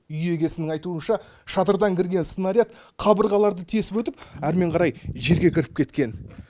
үй егесінің айтуынша шатырдан кірген снаряд қабырғаларды тесіп өтіп әрмен қарай жерге кіріп кеткен